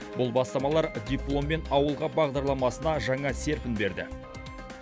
бұл бастамалар дипломмен ауылға бағдарламасына жаңа серпін берді